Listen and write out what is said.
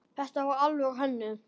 Þetta var alvöru hönnun.